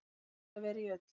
Best er að vera í ull.